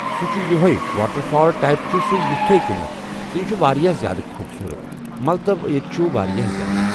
سُہ چھُ یِہٕے۔ واٹَر فال ٹایِپ چھِ سُہ تِتھَے کٔنِیٚتھ تہِ چھُ واریاہ زیادٕ خوٗبصوٗرت۔ مطلب ییٚتہِ چھُ واریاہ زیادٕ۔